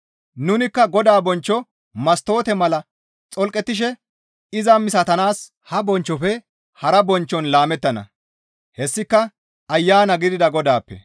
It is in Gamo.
Nunikka Godaa bonchcho mastoote mala xolqettishe iza misatanaas ha bonchchofe hara bonchchon laamettana; hessika Ayana gidida Godaappe.